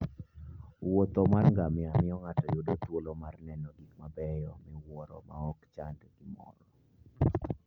wuoth mar ngamia miyo ng'ato yudo thuolo mar neno gik mabeyo miwuoro maok ochando gimoro.